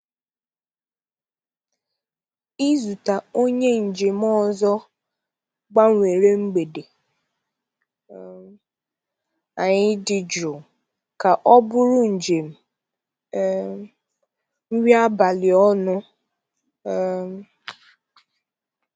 Izute onye njem ọzọ gbanwere mgbede um anyị dị jụụ ka ọ bụrụ njem um nri abalị ọnụ. um